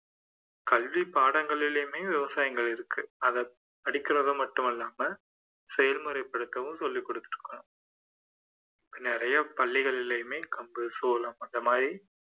கல்வி பாடங்களிலுமே விவசாயங்கள் இருக்கு அதை படிக்கிறது மட்டுமல்லாமல் செயல்முறைப்படுத்தவும் சொல்லிக் கொடுக்கறாங்க நிறைய பள்ளிகளிலையுமே கம்பு, சோளம் அந்த மாதிரி